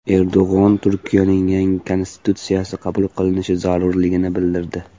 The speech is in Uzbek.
Erdo‘g‘on Turkiyaning yangi konstitutsiyasi qabul qilinishi zarurligini bildirdi.